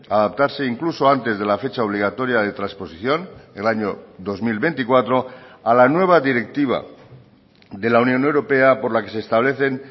adaptarse incluso antes de la fecha obligatoria de transposición el año dos mil veinticuatro a la nueva directiva de la unión europea por la que se establecen